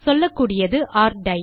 சொல்லக்கூடியது ஒர் டை